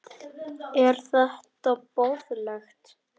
Er þetta boðlegt?